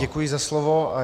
Děkuji za slovo.